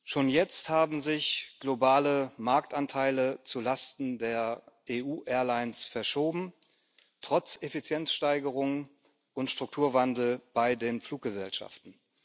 Schon jetzt haben sich globale Marktanteile zulasten der EU Airlines verschoben, trotz Effizienzsteigerungen und Strukturwandel bei den Fluggesellschaften.